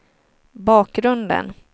bakgrunden